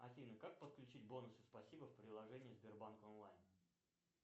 афина как подключить бонусы спасибо в приложении сбербанк онлайн